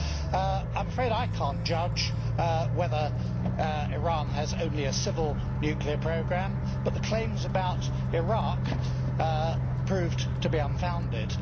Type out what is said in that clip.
I am afraid I cannot judge whether Iran has only a civil nuclear programme, but the claims about Iraq proved to be unfounded.